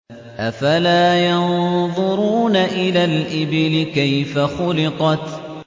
أَفَلَا يَنظُرُونَ إِلَى الْإِبِلِ كَيْفَ خُلِقَتْ